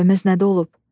Səhvimiz nədə olub?